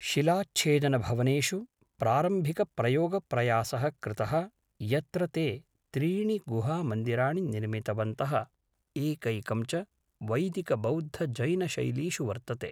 शिलाच्छेदनभवनेषु प्रारम्भिकप्रयोगप्रयासः कृतः यत्र ते त्रीणि गुहामन्दिराणि निर्मितवन्तः, एकैकं च वैदिकबौद्धजैनशैलीषु वर्तते।